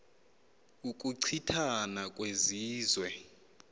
ukuchi thana kwezizwe